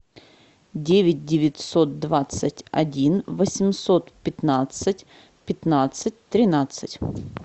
девять девятьсот двадцать один восемьсот пятнадцать пятнадцать тринадцать